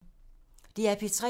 DR P3